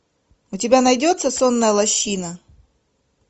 у тебя найдется сонная лощина